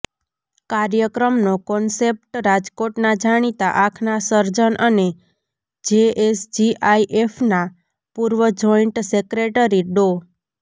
કાર્યક્રમનો કોન્સેપ્ટ રાજકોટના જાણીતા આંખના સર્જન અને જેએસજીઆઈફના પૂર્વ જોઈન્ટ સેક્રેટરી ડો